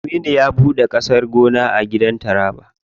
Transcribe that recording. Aminu ya ɓuɗe gidan gona a ƙasar taraba.